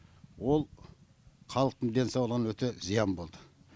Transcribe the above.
ол халықтың денсаулығына өте зиян болды